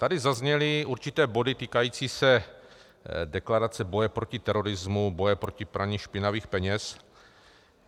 Tady zazněly určité body týkající se deklarace boje proti terorismu, boje proti praní špinavých peněz.